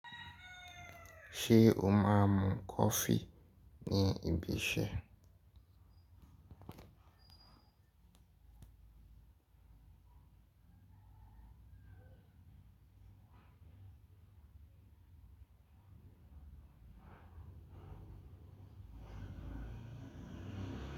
Ṣé o máa ń mu kọfí ní ibi iṣẹ́?